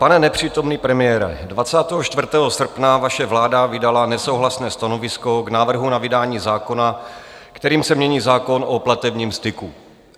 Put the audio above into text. Pane nepřítomný premiére, 24. srpna vaše vláda vydala nesouhlasné stanovisko k návrhu na vydání zákona, kterým se mění zákon o platebním styku.